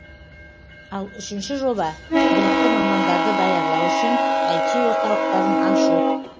ал үшінші жоба білікті мамандарды даярлау үшін іт орталықтарын ашу